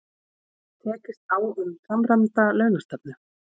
Tekist á um samræmda launastefnu